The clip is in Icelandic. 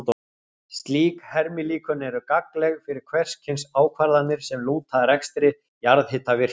Slík hermilíkön eru gagnleg fyrir hvers kyns ákvarðanir sem lúta að rekstri jarðhitavirkjana.